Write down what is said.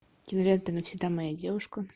кинолента навсегда моя девушка